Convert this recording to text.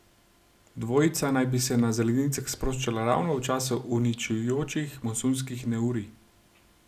Dvojica naj bi se na zelenicah sproščala ravno v času uničujočih monsunskih neurij.